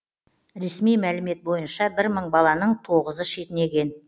ресми мәлімет бойынша бір мың баланың тоғызы шетінеген